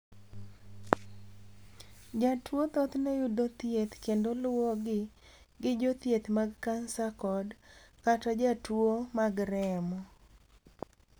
Jotuwo thothne yudo thieth kendo luwogi gi jothieth mag kansa kod/kata jotuwo mag remo.